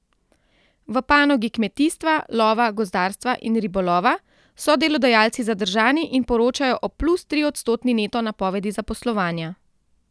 V panogi kmetijstva, lova, gozdarstva in ribolova so delodajalci zadržani in poročajo o plus triodstotni neto napovedi zaposlovanja.